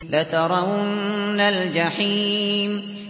لَتَرَوُنَّ الْجَحِيمَ